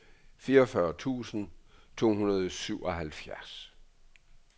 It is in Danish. fireogfyrre tusind to hundrede og syvoghalvfjerds